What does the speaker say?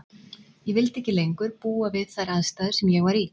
Ég vildi ekki lengur búa við þær aðstæður sem ég var í.